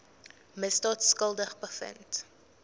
misdaad skuldig bevind